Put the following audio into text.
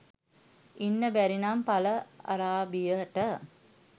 ඉන්න බැරිනම් පල ආරාබියට